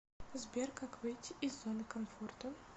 сбер как выйти из зоны комфорта